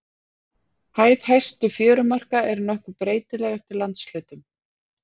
Hæð hæstu fjörumarka er nokkuð breytileg eftir landshlutum.